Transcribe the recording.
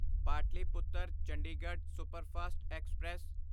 Pataliputra Chandigarh superfast express